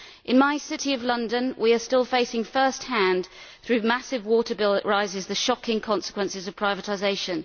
In my city of London we are still facing first hand, through massive water bill rises, the shocking consequences of privatisation.